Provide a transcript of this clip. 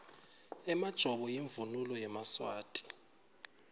emajobo imvunulo yemaswati